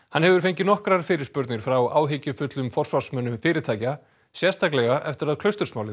hann hefur fengið nokkrar fyrirspurnir frá áhyggjufullum forsvarsmönnum fyrirtækja sérstaklega eftir að